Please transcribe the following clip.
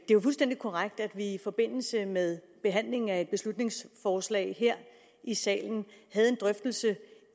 jo fuldstændig korrekt at vi i forbindelse med behandlingen af et beslutningsforslag her i salen havde en drøftelse